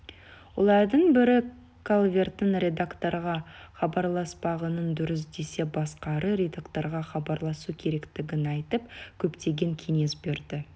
олардың бірі калверттің редакторға хабарласпағанын дұрыс десе басқалары редакторға хабарласу керектігін айтып көптеген кеңес берді